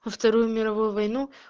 во вторую мировую войну